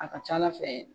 A ka ca ala fɛ